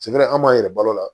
Sika an b'an yɛrɛ balo la